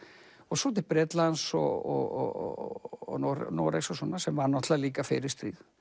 svo til Bretlands og Noregs og svona sem var líka fyrir stríð